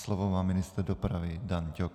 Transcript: Slovo má ministr dopravy Dan Ťok.